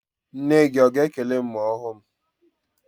Nne gị a ga-ekele m ma ọ hụ m?